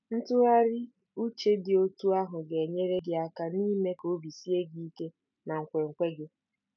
Ntụgharị uche dị otú ahụ ga-enyere gị aka ime ka obi sie gị ike ná nkwenkwe gị.